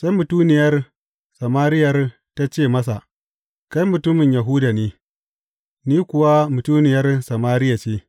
Sai mutuniyar Samariyar ta ce masa, Kai mutumin Yahuda ne, ni kuwa mutuniyar Samariya ce.